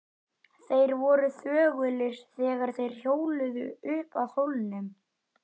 Þeir voru þögulir þegar þeir hjóluðu upp að hólnum.